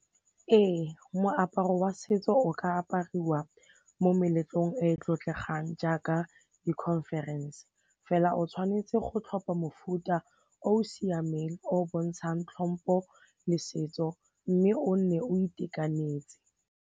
Ee moaparo wa setso o ka apariwa mo meletlong e e tlotlegang jaaka di-conference fela o tshwanetse go tlhopha mofuta o o siameng o o bontshang tlhompo le setso mme o nne o itekanetse.